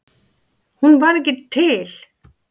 Hún var ekki til.